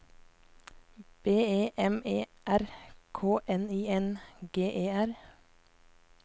B E M E R K N I N G E R